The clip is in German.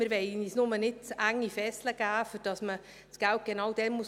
Wir wollen uns nur nicht zu enge Fesseln geben, sodass man das Geld genau dann ausgeben muss.